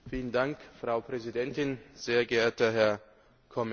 Frau Präsidentin, sehr geehrter Herr Kommissar!